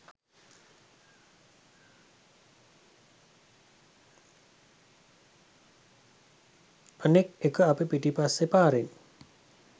අනික් එක අපි පිටිපස්සේ පාරෙන්